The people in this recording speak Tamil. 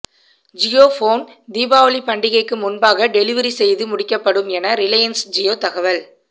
ஜியோபோன் தீபாவளி பண்டிகைக்கு முன்பாக டெலிவரி செய்து முடிக்கப்படும் என ரிலையன்ஸ் ஜியோ தகவல்